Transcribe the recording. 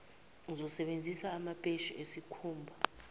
uzosebenzisa amapheshi esikhumba